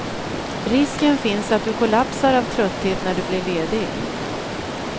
Risken finns att du kollapsar av trötthet när du blir ledig.